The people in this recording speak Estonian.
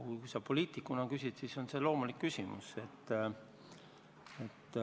Kui sa aga küsid poliitikuna, siis on see loomulik küsimus.